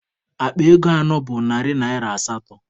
Akpa ego anọ bụ narị naịra asatọ.